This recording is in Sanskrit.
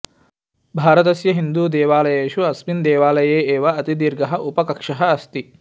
भारतस्य हिन्दूदेवालयेषु अस्मिन् देवालये एव अतिदीर्घः उपकक्षः अस्ति